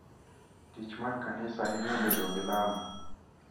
Tich mar kanisa hinyo bedo gi lamo,